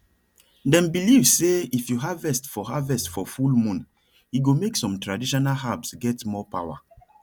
dem believe say if you harvest for harvest for full moon e go make some traditional herbs get more power